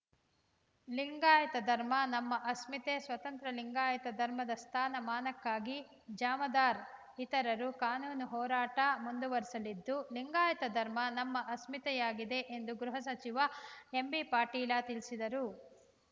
ಲಿಂಗಾಯತ ಧರ್ಮ ನಮ್ಮ ಅಸ್ಮಿತೆ ಸ್ವತಂತ್ರ ಲಿಂಗಾಯತ ಧರ್ಮದ ಸ್ಥಾನಮಾನಕ್ಕಾಗಿ ಜಾಮದಾರ್ ಇತರರು ಕಾನೂನು ಹೋರಾಟ ಮುಂದುವರಿಸಲಿದ್ದು ಲಿಂಗಾಯತ ಧರ್ಮ ನಮ್ಮ ಅಸ್ಮಿತೆಯಾಗಿದೆ ಎಂದು ಗೃಹ ಸಚಿವ ಎಂಬಿಪಾಟೀಲ ತಿಳಿಸಿದರು